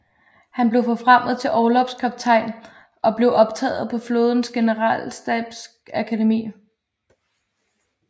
Han blev forfremmet til orlogskaptajn og blev optaget på flådens generalstabsakademi